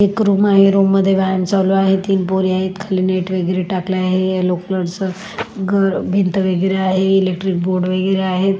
एक रूम आहे रूम मध्ये व्यायाम चालू आहे तीन पोरी आहेत खाली नेट वगैरे टाकले आहे येलो कलरच ग भीत वगैरे आहे इलेकट्रिक बोर्ड वगैरे आहे.